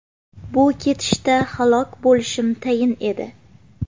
Bu ketishda halok bo‘lishim tayin edi.